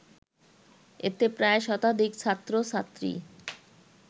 এতে প্রায় শতাধিক ছাত্র-ছাত্রী